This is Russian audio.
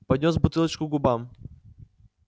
поднёс бутылочку к губам